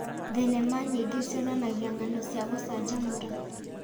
Thenema nyingĩ cionanagia ng'ano cia gũcanjamũra.